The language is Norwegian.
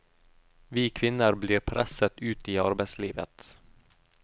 Vi kvinner blir presset ut i arbeidslivet.